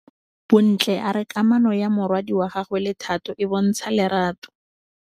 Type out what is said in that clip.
Bontle a re kamanô ya morwadi wa gagwe le Thato e bontsha lerato.